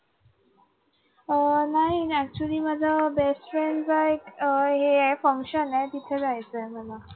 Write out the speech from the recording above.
अं नाही actually माझं best friend च एका हे आहे function आहे तिथे जायचं आहे मला.